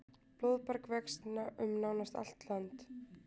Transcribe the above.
Blóðberg vex um nánast allt land.